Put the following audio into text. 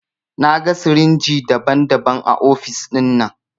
Na gan sirinji daban-daban a ofis dinnan.